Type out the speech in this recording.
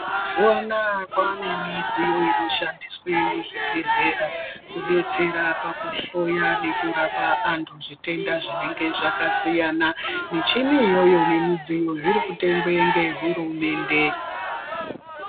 Mazuwa anaa kwaanemidziyo inoshandiswe muzvibhehlera kudetsera pakuhloya nepakurapa vantu zvitenda zvinenge zvakasiyana. Michini iyoyo ngemidziyo zvirikutengwe ngehurumende.